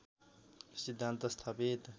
सिद्धान्त स्थापित